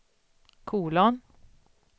kolon